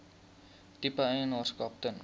tipe eienaarskap ten